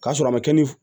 K'a sɔrɔ a ma kɛ ni